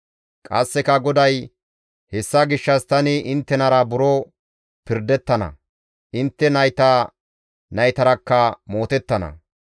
Qasseka GODAY, «Hessa gishshas tani inttenara buro pirdettana; intte nayta naytarakka mootettana.